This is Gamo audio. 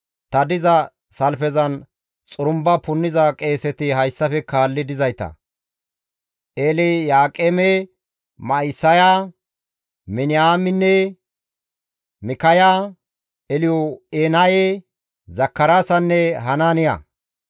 Ta diza salfezan xurumba punniza qeeseti hayssafe kaalli dizayta; Elyaaqeeme, Ma7isaya, Miniyaamine, Mikkaya, Elyo7enaye, Zakaraasanne Hanaaniya;